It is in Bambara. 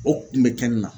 O kun bɛ kɛ nin na